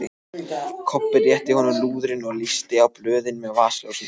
Kobbi rétti honum lúðurinn og lýsti á blöðin með vasaljósinu.